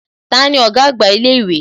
Tani ọ̀gá àgbà ilé ìwé?